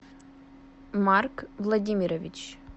марк владимирович